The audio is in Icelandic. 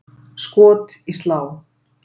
Skot í slá!